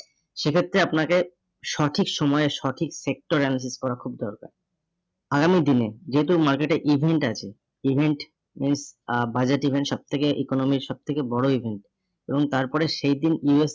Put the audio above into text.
সেক্ষেত্রে আপনাকে সঠিক সময়ে সঠিক sector analysis করা খুব দরকার। আগামী দিনে যেহেতু market এ event আছে, event event আহ budget event সব থেকে economy র সব থেকে বড় event এবং তারপরে সেইদিন